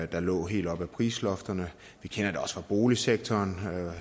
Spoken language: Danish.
der lå helt op ad prisloftet vi kender det også fra boligsektoren